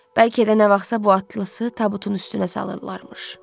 Bəlkə də nə vaxtsa bu atlası tabutun üstünə salırlarmış.